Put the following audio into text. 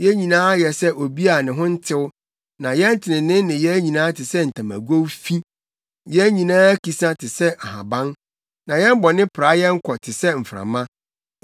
Yɛn nyinaa ayɛ sɛ obi a ne ho ntew, na yɛn trenee nneyɛe nyinaa te sɛ ntamagow fi; yɛn nyinaa akisa te sɛ ahaban, na yɛn bɔne pra yɛn kɔ te sɛ mframa.